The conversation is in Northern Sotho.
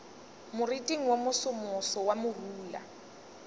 moriting wo mosomoso wa morula